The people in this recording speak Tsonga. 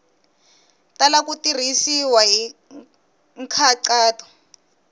tala ku tirhisiwa hi nkhaqato